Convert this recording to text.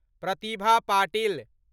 Pratibha Patil